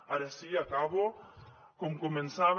ara sí acabo com començava